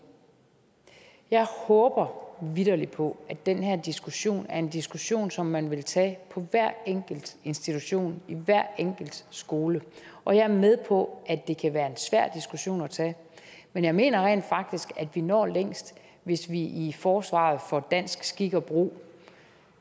jeg håber vitterlig på at den her diskussion er en diskussion som man vil tage på hver enkelt institution i hver enkelt skole og jeg er med på at det kan være en svær diskussion at tage men jeg mener rent faktisk at vi når længst hvis vi i forsvaret for dansk skik og brug